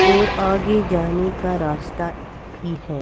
और आगे जाने का रास्ता भी है।